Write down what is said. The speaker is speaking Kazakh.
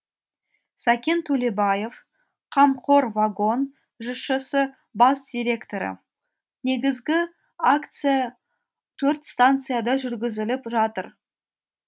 сәкен төлебаев қамқор вагон жшс бас директоры негізгі аякция төрт станцияда жүргізіліп жатыр